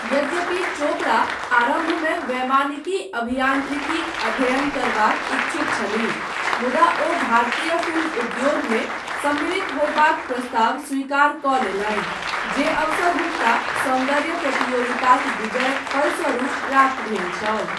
यद्यपि चोपड़ा, आरम्भमे, वैमानिकी अभियान्त्रिकीक अध्ययन करबाक इच्छुक छलीह, मुदा ओ भारतीय फिल्म उद्योगमे, सम्मिलित होयबाक प्रस्ताव स्वीकारकऽ लेलनि, जे अवसर हुनका सौन्दर्य प्रतियोगिताक विजयक फलस्वरूप प्राप्त भेल छल।